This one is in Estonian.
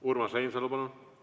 Urmas Reinsalu, palun!